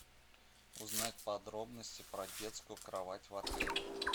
узнать подробности про детскую кровать в отеле